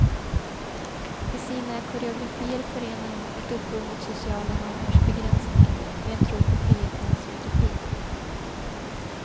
I sina koreografier förenar hon ett uppror mot sociala normers begräsningar med en tro på frihetens utopi.